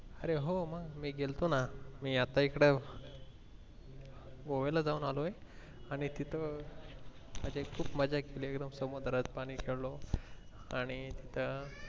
आरे हो हो मी गेलतो ना मी आता इकडे गोव्याला जाऊन आलोय आणि तिथे आधी खूप मज्जा केली वीरोम ला मद्राज ला पाणी खेळों आणि तिथे